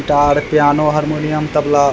guitar piano harmonium tabla --